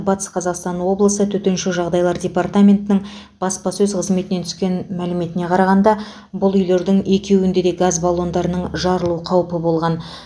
батыс қазақстан облысы төтенше жағдайлар департаментінің баспасөз қызметінен түскен мәліметіне қарағанда бұл үйлердің екеуінде де газ баллондарының жарылу қаупі болған